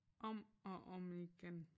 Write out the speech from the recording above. Om og om igen